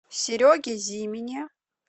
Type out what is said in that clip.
сереге зимине